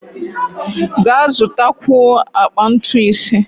Ga zụtakwuo akpa ntu ise!